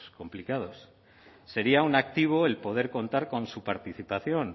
complicados sería un activo el poder contar con su participación